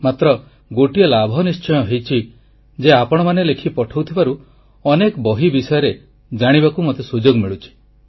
ମାତ୍ର ଗୋଟିଏ ଲାଭ ନିଶ୍ଚୟ ହୋଇଛି ଯେ ଆପଣମାନେ ଲେଖି ପଠାଉଥିବାରୁ ଅନେକ ବହି ବିଷୟରେ ଜାଣିବାକୁ ମୋତେ ସୁଯୋଗ ମିଳୁଛି